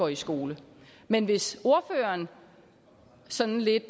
i skole men hvis ordføreren sådan lidt